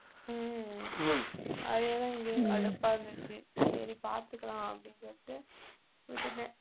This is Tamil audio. உம் அதே தான் இங்கேயும் கடுப்பா இருந்துச்சு சரி பாத்துக்கலாம் அப்படீன்னு சொல்லிட்டு விட்டுட்டேன்